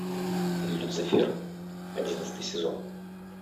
люцифер одиннадцатый сезон